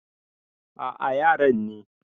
A a yaran ne.